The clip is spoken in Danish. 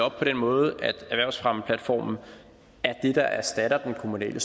op på den måde at erhvervsfremmeplatformen er det der erstatter den kommunale